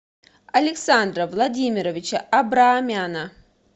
александра владимировича абраамяна